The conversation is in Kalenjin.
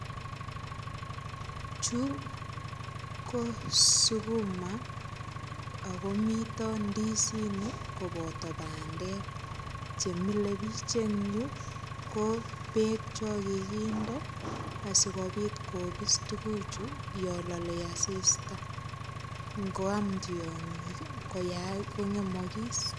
Chu ko sukuma akomito ndisinik koboto bandek chemile biich eng yu ko beek cho kikinde asikobit kobis tukuchu yo lolei asista ngoam tiong'ik koyae kingemokis.